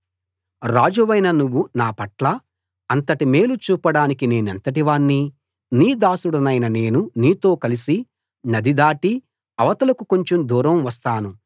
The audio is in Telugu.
రాజువైన నువ్వు నాపట్ల అంతటి మేలు చూపడానికి నేనెంతటివాణ్ణి నీ దాసుడనైన నేను నీతో కలసి నది దాటి అవతలకు కొంచెం దూరం వస్తాను